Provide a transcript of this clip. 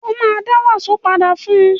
Ó ma dá wàsó padà fún